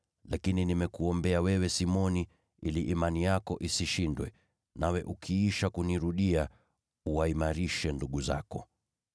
Lakini nimekuombea wewe Simoni ili imani yako isishindwe, nawe ukiisha kunirudia, uwaimarishe ndugu zako.”